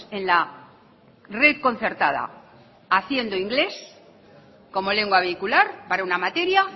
en la red concertada haciendo inglés como lengua vehicular para una materia